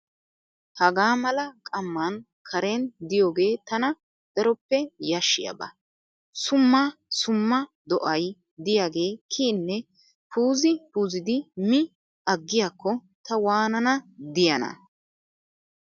Hagaa mala qamman karen diyooge tana daroppe yashshiyaaba. Summa summa do"ay diyaage kiyinne puuzi puuzidi mi aggiyaakko ta waanana diyaan?